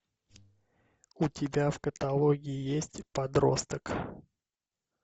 у тебя в каталоге есть подросток